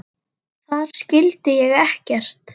Þar skildi ég ekkert.